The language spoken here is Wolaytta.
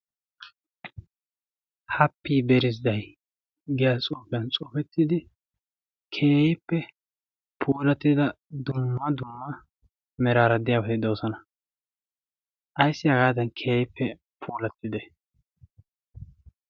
happii berizdday giya coophiyan cofettidi kehippe pulattida dumma dumma meraaraddi aaheddoosana. ayssi hagaadan kehippe pulattide?